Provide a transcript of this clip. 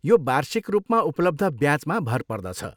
यो वार्षिक रूपमा उपलब्ध ब्याचमा भर पर्दछ।